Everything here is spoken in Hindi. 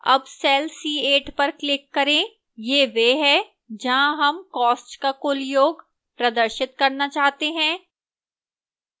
अब cell c8 पर click करें यह वह है जहां sum costs का कुल योग प्रदर्शित करना चाहते हैं